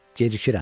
Gecikirəm.